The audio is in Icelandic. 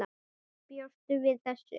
Bjóstu við þessu?